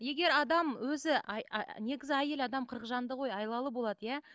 егер адам өзі негізі әйел адам қырық жанды ғой айлалы болады иә